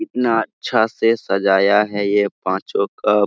कितना अच्छा से सजाया है यह पांचों कप।